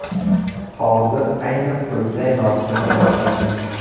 Hozir ayni qulupnay mavsumi boshlandi.